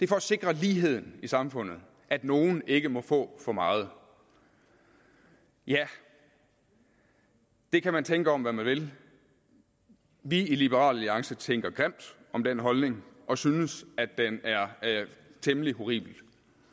for at sikre ligheden i samfundet at nogle ikke må få for meget ja det kan man tænke om hvad man vil vi i liberal alliance tænker grimt om den holdning og synes at den er temmelig horribel